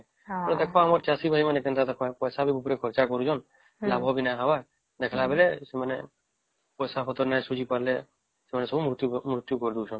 ହେଇ ଦେଖ କେମିତି ଆମର ଚାଷୀ ଭାଇ ମାନେ ପଇସା ବି ଉପରେ ଖର୍ଚ ବି କରୁଛନ ଲାଭ ବି ନାଇଁ ହବର ଦେଖିଲାରୁ ରୁ ସେମାନେ ପଇସା ପତ୍ର ନାଇଁ ସୁଝି ପରେ ସେମାନେ ସବୁ ମୃତ୍ୟ କରି ଦଉଛନ